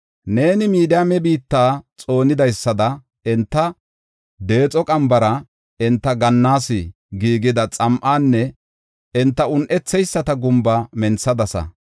Neeni Midiyaame biitta xoonidaysada enta deexo qambara, enta gannas giigida xam7anne enta un7etheyisata gumba menthadasa.